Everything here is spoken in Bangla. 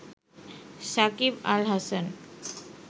সাকিব আল হাসান